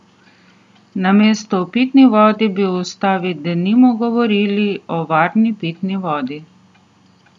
Namesto o pitni vodi bi v ustavi denimo govorili o varni pitni vodi.